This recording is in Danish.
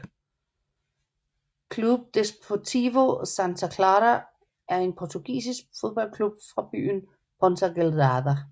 Clube Desportivo Santa Clara er en portugisisk fodboldklub fra byen Ponta Delgada